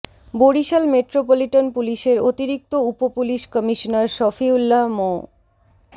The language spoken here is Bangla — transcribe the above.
বরিশাল মেট্রোপলিটন পুলিশের অতিরিক্ত উপ পুলিশ কমিশনার সফিউল্লাহ মো